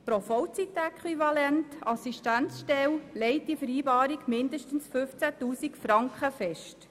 Pro Vollzeitäquivalent-Assistenzstelle legt die Vereinbarung mindestens 15 000 Franken fest.